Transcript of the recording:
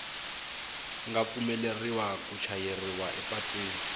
nga pfumeleriwa ku chayeriwa epatwini